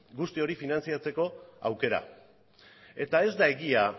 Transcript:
guzti hori finantzatzeko aukera eta ez da egia